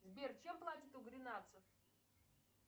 сбер чем платят у гренадцев